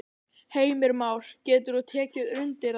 Heimir Már: Getur þú tekið undir það?